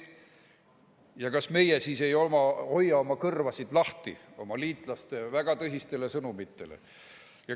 Ja kas meie siis ei hoia oma kõrvu lahti oma liitlaste väga tõsistele sõnumitele?